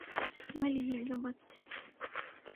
Ma lihi gabadh